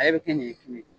A yɛrɛ bɛ kɛ ɲɛɲɛ ye